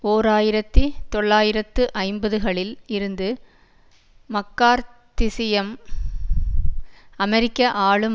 ஓர் ஆயிரத்தி தொள்ளாயிரத்து ஐம்பது களில் இருந்து மக்கார்த் தியிசம் அமெரிக்க ஆளும்